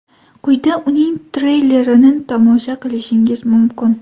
Quyida uning treylerini tomosha qilishingiz mumkin.